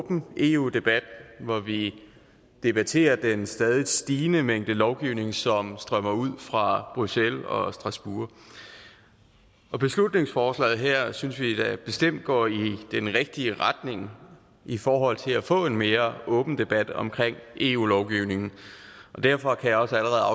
åben eu debat hvor vi debatterer den stadig stigende mængde lovgivning som strømmer ud fra bruxelles og strasbourg og beslutningsforslaget her synes vi da bestemt går i den rigtige retning i forhold til at få en mere åben debat omkring eu lovgivningen og derfor kan jeg også allerede